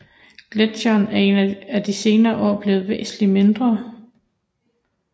Gletsjeren er de senere år blevet væsentligt mindre